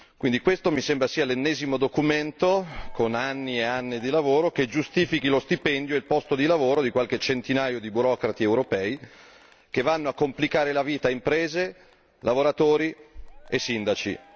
quindi questo mi sembra sia l'ennesimo documento, con anni e anni di lavoro, che giustifichi lo stipendio e il posto di lavoro di qualche centinaio di burocrati europei, che vanno a complicare la vita a imprese, lavoratori e sindaci.